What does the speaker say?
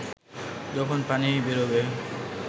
যখন পানি বেরোবে